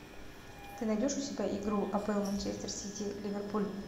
ты найдешь у себя игру апл манчестер сити ливерпуль